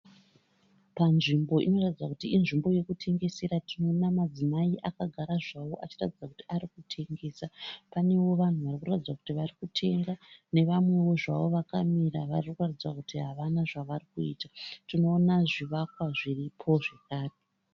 Panzvimbo inoratidza kuti inzvimbo yekutengesera. Tinoona madzimai akagara zvawo achitaridza kuti ari kutengesa. Panewo vanhu vari kuratidza kuti vari kutengesa nevamwewo zvavo vakamira vari kuratidza kuti havana zvavari kuita. Tinoona zvivakwa zviripo zvakare.